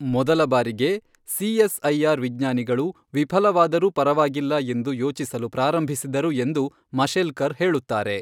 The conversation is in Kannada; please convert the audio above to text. ಮೊದಲ ಬಾರಿಗೆ, ಸಿಎಸ್ಐಆರ್ ವಿಜ್ಞಾನಿಗಳು ವಿಫಲವಾದರೂ ಪರವಾಗಿಲ್ಲ ಎಂದು ಯೋಚಿಸಲು ಪ್ರಾರಂಭಿಸಿದರು ಎಂದು ಮಶೆಲ್ಕರ್ ಹೇಳುತ್ತಾರೆ.